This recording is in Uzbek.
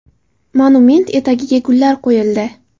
Monument etagiga gullar qo‘yildi.